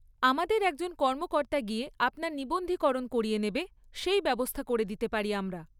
আমাদের একজন কর্মকর্তা গিয়ে আপনার নিবন্ধীকরণ করিয়ে নেবে, সেই ব্যবস্থা করে দিতে পারি আমরা।